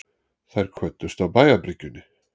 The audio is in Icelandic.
Þeir kvöddust á bæjarbryggjunni.